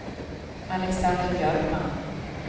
Alexander Björkman